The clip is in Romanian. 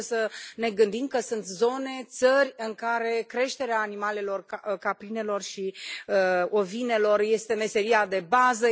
Trebuie să ne gândim că sunt zone, țări în care creșterea animalelor, caprinelor și ovinelor este meseria de bază.